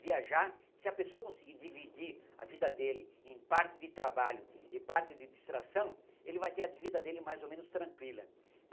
Viajar, se a pessoa conseguir dividir a vida dele em parte de trabalho e parte de distração, ele vai ter a vida dele mais ou menos tranquila.